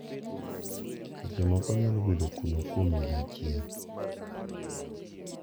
Seche moko onyalo bedo kuno kuom higa achiel.